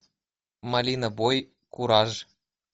малина бой кураж